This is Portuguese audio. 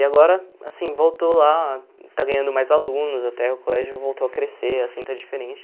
E agora, assim, voltou lá, está ganhando mais alunos, até o colégio voltou a crescer, assim, está diferente.